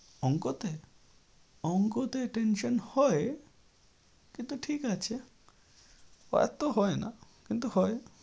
অঙ্কতে, অঙ্কতে tension হয়। কিন্তু ঠিক আছে হয় না কিন্তু হয়।